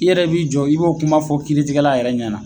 I yɛrɛ b'i jɔ i b'o kuma fɔ kiiritigɛla yɛrɛ ɲɛ na.